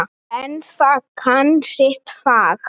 En það kann sitt fag.